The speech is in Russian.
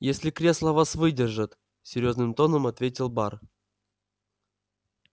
если кресла вас выдержат серьёзным тоном ответил бар